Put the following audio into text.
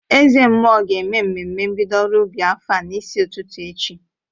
Ezemmụọ ga-eme ememe mbido ọrụ ubi afọ a n'isi ụtụtụ echi.